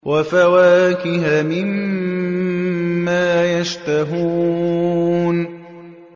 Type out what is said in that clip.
وَفَوَاكِهَ مِمَّا يَشْتَهُونَ